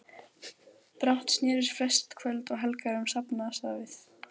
Brátt snerust flest kvöld og helgar um safnaðarstarfið.